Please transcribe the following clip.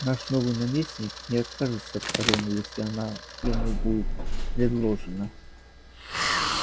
наш новый наместник не откажется от короны если она ему будет предложена